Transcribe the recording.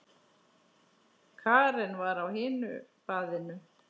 Karen var á hinu baðinu.